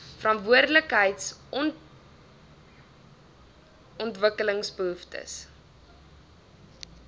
verantwoordelikheid on ontwikkelingsbehoeftes